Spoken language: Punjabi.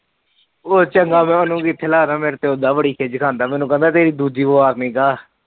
ਉਹ ਚੰਗਾ ਮੈ ਉਹਨੂੰ ਕਿਥੇ ਲੱਗਦਾ ਮੇਰੇ ਤਾ ਬੜੀ ਖੀਜ ਖਾਜਾ ਮੈਨੂੰ ਕਹਿੰਦਾ